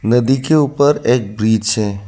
नदी के ऊपर एक ब्रिज है।